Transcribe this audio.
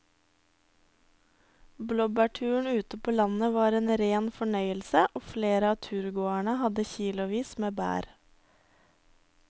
Blåbærturen ute på landet var en rein fornøyelse og flere av turgåerene hadde kilosvis med bær.